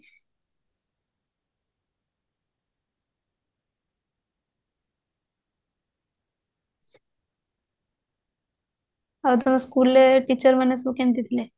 ହଁ ଆଉ ତୋ school ରେ teacher ମାନେ ସବୁ କେମିତି ଥିଲେ